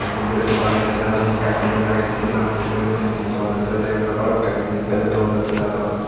de bangedi saidot syeni ekkan tebil agey sei tebilanot he toyon hijeni dogandassey rey dega naw jai balokkani jinis bejey dogandassey ta doganot.